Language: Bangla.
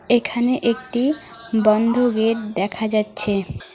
এখানে একটি বন্ধ গেট দেখা যাচ্ছে।